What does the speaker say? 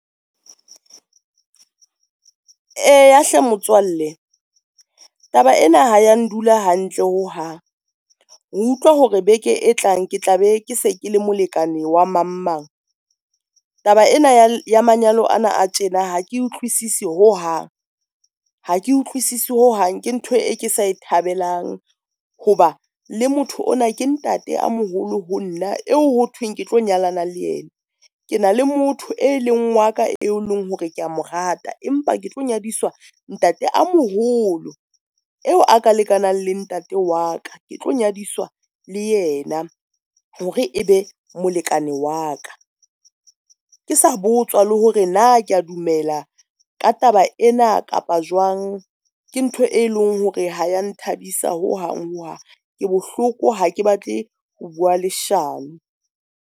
Eya hle motswalle taba ena ha ya ndula hantle ho hang. Ho utlwa hore beke e tlang ke tla be ke se ke le molekane wa mang, mang. Taba ena ya manyalo ana a tjena ha ke utlwisise ho hang, ha ke utlwisise ho hang, ke ntho e ke sa e thabelang ho ba le motho ona, ke ntate a moholo ho nna eo ho thweng ke tlo nyalana le yena, ke na le motho e leng wa ka eo leng hore kea mo rata. Empa ke tlo nyadiswa ntate a moholo eo a ka lekanang le ntate wa ka, ke tlo nyadiswa le yena hore e be molekane wa ka. Ke sa botswa le hore na kea dumela ka taba ena kapa jwang ke ntho e leng hore ha ya nthabisa ho hang ho hang, ke bohloko ha ke batle ho bua leshano.